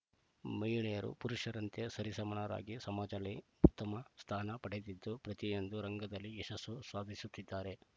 ಮಹಿಳೆಯರು ಪುರುಷರಂತೆ ಸರಿಸಮಾನರಾಗಿ ಸಮಾಜದಲ್ಲಿ ಉತ್ತಮ ಸ್ಥಾನ ಪಡೆದಿದ್ದು ಪ್ರತಿಯೊಂದು ರಂಗದಲ್ಲಿ ಯಶಸ್ಸು ಸಾಧಿಸುತ್ತಿದ್ದಾರೆ